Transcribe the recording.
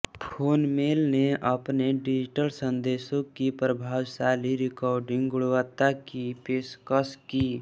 phonemail ने अपने digital संदेशों की प्रभावशाली रिकॉर्डिंग गुणवत्ता की पेशकश की